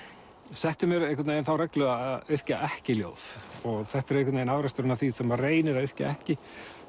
setti mér einhvern veginn þá reglu að yrkja ekki ljóð þetta er einhvern veginn afraksturinn af því þegar maður reynir að yrkja ekki